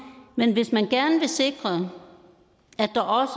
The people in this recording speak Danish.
men hvis man gerne vil sikre